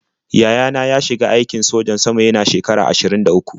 Yaya na ya shiga aikin sojan sama yana shekara ashirin da uku.